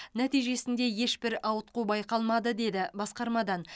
нәтижесінде ешбір ауытқу байқалмады деді басқармадан